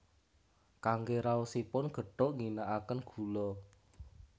Kangge raosipun gethuk ngginakaken gula